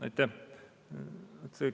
Aitäh!